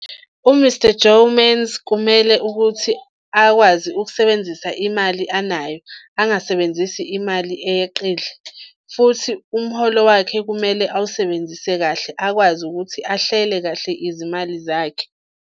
U-Mr Joemans, kumele ukuthi akwazi ukusebenzisa imali anayo angasebenzisi imali eyeqile, futhi umholo wakhe kumele awusebenzise kahle akwazi ukuthi ahlele kahle izimali zakhe.